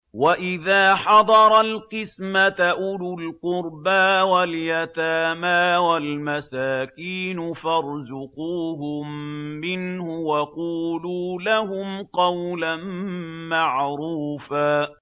وَإِذَا حَضَرَ الْقِسْمَةَ أُولُو الْقُرْبَىٰ وَالْيَتَامَىٰ وَالْمَسَاكِينُ فَارْزُقُوهُم مِّنْهُ وَقُولُوا لَهُمْ قَوْلًا مَّعْرُوفًا